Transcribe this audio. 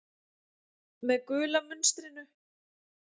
Með gula munstrinu.